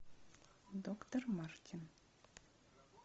доктор мартин